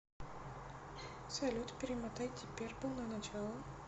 салют перемотай диперпл на начало